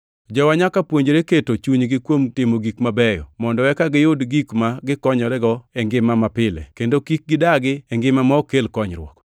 Jowa nyaka puonjre keto chunygi kuom timo gik mabeyo, mondo eka giyud gik ma gikonyorego e ngimagi mapile kendo kik gidagi e ngima ma ok kel konyruok.